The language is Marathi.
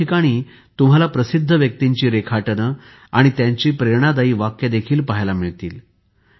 अनेक ठिकाणी तुम्हाला प्रसिद्ध व्यक्तींची रेखाटने आणि त्यांची प्रेरणादायी वाक्य देखील पहायला मिळतील